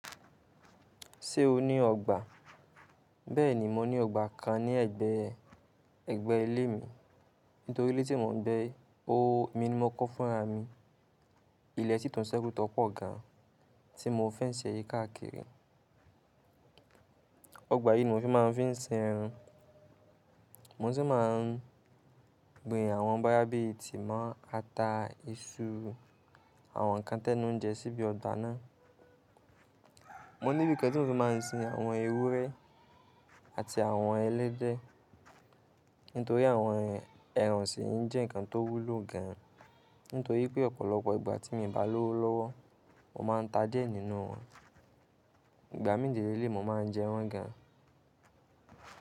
Ṣé o ní ọgbà? Bẹ́ẹ̀ni, mo ní ọgbà kan ní ẹ̀gbẹ́, ẹ̀gbẹ́ ilé mi. Nítorí ilé tí mò ń gbé, ó mi ni mo kọ́ fúnra mi. Ilẹ̀ sitún sẹ́kù tọ̀ pọ̀ gan, tí mo fẹ́nsi e yi káàkiri. Ọgbà yìí ni mo fi máa ń fi ń sin ẹran. Mo sì máa ń gbin àwọn báyà bí i tímọ́, ata, iṣu, àwọn ǹkan tẹ́nu njẹ síbi ọgbà náà. Mo ní bí i kán tí mo fi máa ń sin àwọn ewúrẹ́ àti àwọn ẹlẹ́dẹ̀. Nítorí àwọn ẹran osìń jẹ́ ǹkan tó wúlò gan. Nítorí pé ọ̀pọ̀lọpọ̀ ìgbà tí mi bá lọ́wọ́lọ́wọ́, mo máa ń ta diẹ́ nínú wọn. Ìgbà mí de leleyi, mo máa ń jẹ wọ́n gan.